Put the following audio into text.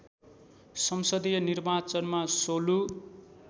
संसदीय निर्वाचनमा सोलु